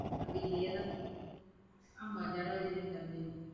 வீட்டுலையேதான் ஆமா, ஜனவரி ரெண்டாம் தேதி.